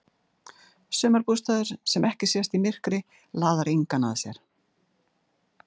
Sumarbústaður sem ekki sést í myrkri laðar engan að sér.